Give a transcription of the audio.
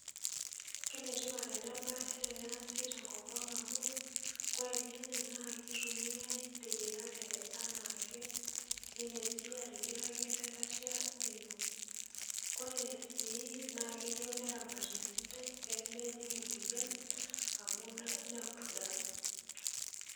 Kenetipat enabaye teneasi tenkopang' amu kore ilnyanya naa keitumiai teyierare anaake nindim sii atimiraki lelatia lino. Kore sii naakeyou neramati esidai pee mejing' emuoyan amu nepurda.